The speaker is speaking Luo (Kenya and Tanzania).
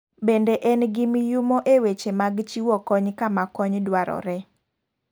Bende en gi miyumo e weche mag chiwo kony kama kony dwarore.